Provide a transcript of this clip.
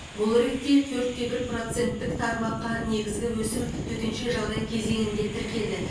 бұл ретте төрт те бір проценттік тармаққа негізгі өсім төтенше жағдай кезеңінде тіркелді